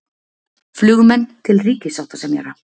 Flugmenn til ríkissáttasemjara